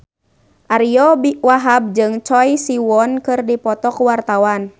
Ariyo Wahab jeung Choi Siwon keur dipoto ku wartawan